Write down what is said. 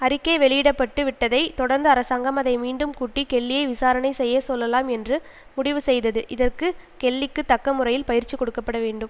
அறிக்கை வெளியிட பட்டு விட்டதைத் தொடர்ந்து அரசாங்கம் அதை மீண்டும் கூட்டி கெல்லியை விசாரணை செய்ய சொல்லலாம் என்று முடிவு செய்தது இதற்கு கெல்லிக்கு தக்க முறையில் பயிற்சி கொடுக்க பட வேண்டும்